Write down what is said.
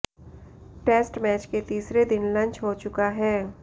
test match के तीसरे दिन लंच हो चुका है